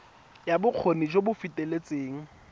ya bokgoni jo bo feteletseng